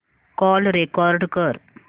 call record कर